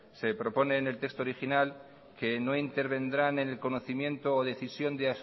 se propone en el texto original que no intervendrá en el conocimiento o decisión de